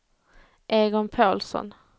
Egon Pålsson